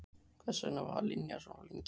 Hvers vegna var Linja svona lengi?